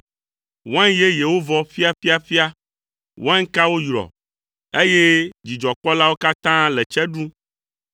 Wain yeyewo vɔ ƒiaƒiaƒia, wainkawo yrɔ, eye dzidzɔkpɔlawo katã le tse ɖum.